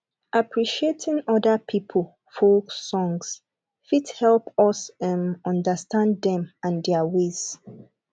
appreciating oda pipo folk songs fit help us um understand dem and their ways